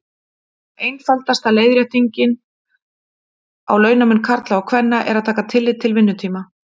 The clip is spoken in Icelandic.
Einfaldasta leiðréttingin á launamun karla og kvenna er að taka tillit til vinnutíma.